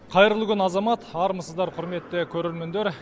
қайырлы күн азамат армысыздар құрметті көрермендер